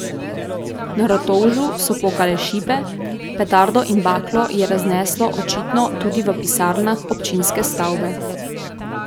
Na Rotovžu so pokale šipe, petardo in baklo je razneslo očitno tudi v pisarnah občinske stavbe.